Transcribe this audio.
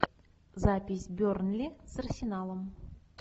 запись бернли с арсеналом